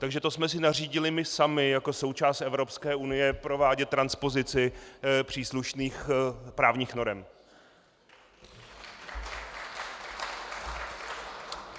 Takže to jsme si nařídili my sami jako součást Evropské unie provádět transpozici příslušných právních norem.